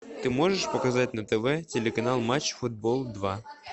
ты можешь показать на тв телеканал матч футбол два